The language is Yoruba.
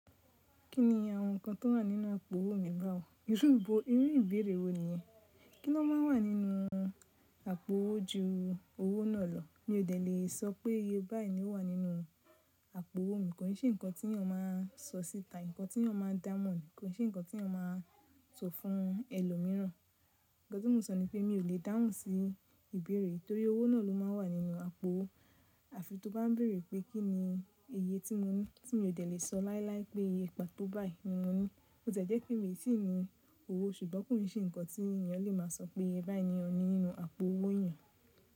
Kí ni àwọn nǹkan tó wà nínú ipò owó mi bá ò. Irúbo irú ìbéèrè wo nìyẹn? Kí ló máa ń wà nínú àpò owó ju owó náà lọ? Mi ò dẹ̀ lè sọ pé iye báyìí ni ó wà nínú àpò owó mi, kò ní sì nǹkan tí èèyàn máa ń sọ síta, nǹkan tí èèyàn máa ń dáhùn, kò ní sì nǹkan tí èèyàn máa ń sọ fún ẹlòmíràn. Ǹkan tí mo sọ ni pé mi ò lè dáhùn fun ìbéèrè nitorí owó náà ló máa ń wà nínú àpò. Àfi tó bá ń béèrè pé kí ni iye tí mo ní tí mi ò dẹ̀ lè sọ láíláí pé iye gba tó báyìí ni mo ní. Ó tẹ̀ẹ́ jẹ́ pé mi tì ní owó ṣùgbọ́n kò n sì nǹkan tí èèyàn lè máa sọ pé báyìí ni ọ ní nínú àpò owó èèyàn.